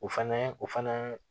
O fɛnɛ o fana